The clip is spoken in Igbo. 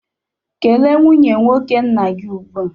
Kele nwanne nwoke nna gị ugbu a!